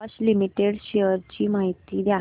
Bosch limited shares ची माहिती द्या